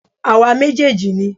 Àwa méjèèjì ni